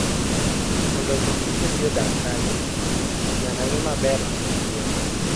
Mondo omi kich obi odag kanyo, nyaka ng'i maber tiend yien.